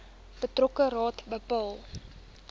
betrokke raad bepaal